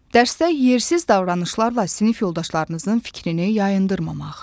Dərsdə yersiz davranışlarla sinif yoldaşlarınızın fikrini yayındırmamaq.